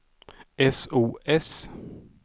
sos